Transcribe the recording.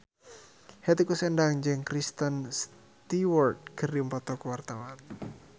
Hetty Koes Endang jeung Kristen Stewart keur dipoto ku wartawan